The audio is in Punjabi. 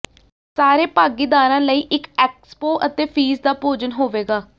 ਸਾਰੇ ਭਾਗੀਦਾਰਾਂ ਲਈ ਇਕ ਐਕਸਪੋ ਅਤੇ ਫ਼ੀਸ ਦਾ ਭੋਜਨ ਹੋਵੇਗਾ